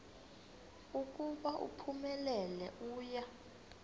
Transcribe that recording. ukuba uphumelele uya